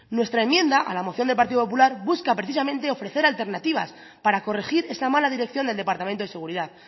nuestra enmienda a la moción del partido popular busca precisamente ofrecer alternativas para corregir esa mala dirección del departamento de seguridad